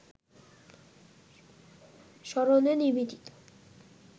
স্মরণে নিবেদিত